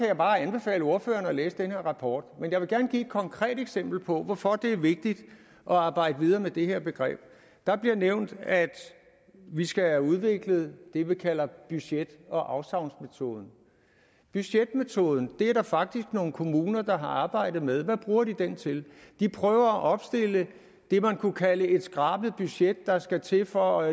jeg bare anbefale ordføreren at læse den her rapport men jeg vil gerne give et konkret eksempel på hvorfor det er vigtigt at arbejde videre med det her begreb der bliver nævnt at vi skal have udviklet det vi kalder budget og afsavnsmetoden budgetmetoden er der faktisk nogle kommuner der har arbejdet med hvad bruger de den til de prøver at opstille det man kunne kalde et skrabet budget der skal til for